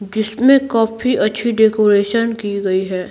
जिसमे कॉफ़ी अच्छी डेकोरेशन की गई है।